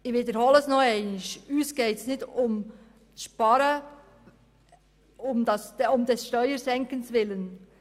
Ich wiederhole: Uns geht es nicht um das Sparen um des Steuersenkens Willen.